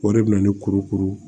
O de bɛ na ni kurukuru